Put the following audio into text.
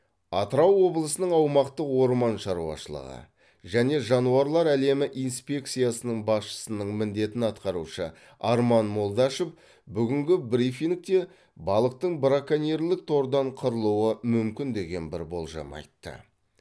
атырау облысының аумақтық орман шаруашылығы және жануарлар әлемі инспекциясының басшысының міндетін атқарушы арман молдашев бүгінгі брифингте балықтың браконьерлік тордан қырылуы мүмкін деген бір болжам айтты